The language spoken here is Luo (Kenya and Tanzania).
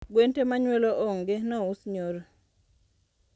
Gwen tee manyuolo ong nous nyoro